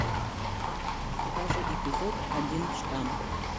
покажи эпизод один штамм